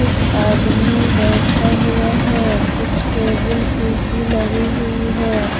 कुछ आदमी बैठा हुआ है कुछ टेबुल कुर्सी लगी हुई है।